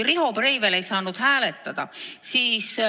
Riho Breivel ei saanud äsja hääletada.